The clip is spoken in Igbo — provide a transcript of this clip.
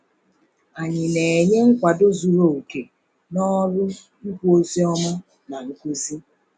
Anyị na-enye nkwado zuru oke n’ọrụ ikwu ozi ọma na nkuzi?